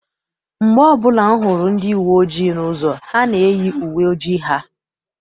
Mgbe ọbụla m hụrụ ndi uwe ojii n'ụzọ, ha na-eyi uwe ojii ha.